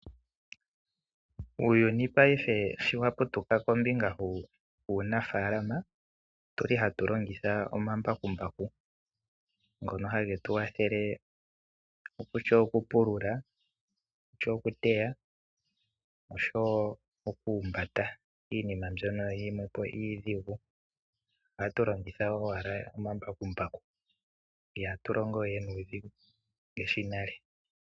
Uuyuni paife sho wa putuka kombinga yuunafalama otu li hatu longitha omambakumbaku ngono hage tu kwathele kutya okupulula, kutya okuteya osho wo okuhumbata iinima mbyono yimwe po iidhigu. Ohatu longitha owala omambakumbaku ihatu longo we nuudhigu ngaashi nale.